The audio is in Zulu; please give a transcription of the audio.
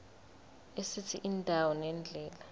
esithi indawo nendlela